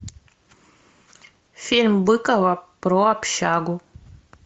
фильм быкова про общагу